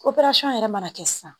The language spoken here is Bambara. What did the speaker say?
yɛrɛ mana kɛ sisan